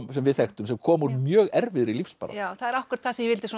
sem við þekktum sem kom úr mjög erfiðri lífsbaráttu það er akkúrat það sem ég vildi